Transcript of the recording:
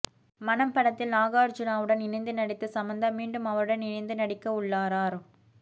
மனம் படத்தில் நாகார்ஜூனாவுடன் இணைந்து நடித்த சமந்தா மீண்டும் அவருடன் இணைந்து நடிக்கவுள்ளாரார்